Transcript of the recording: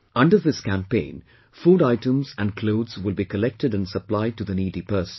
Under this campaign, food items and clothes will be collected and supplied to the needy persons